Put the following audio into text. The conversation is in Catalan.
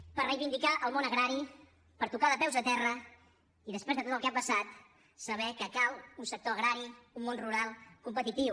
per reivindicar el món agrari per tocar de peus a terra i després de tot el que ha passat saber que cal un sector agrari un món rural competitiu